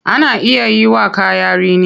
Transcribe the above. Ana iya yiwa kaya rini.